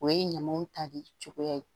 O ye ɲamaw ta de cogoya ye